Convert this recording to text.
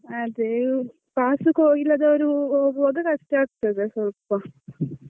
ಅದೇ pass ಇಲ್ಲದವರು ಹೋಗುವಾಗ ಕಷ್ಟ ಆಗ್ತದೆ ಸ್ವಲ್ಪ.